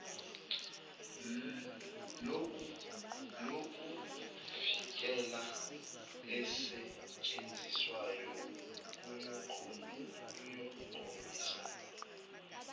lokuvikela elisetshenziswayo liyokhombisa